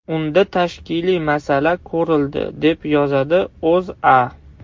Unda tashkiliy masala ko‘rildi, deb yozadi O‘zA.